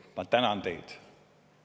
Ma tänan teid!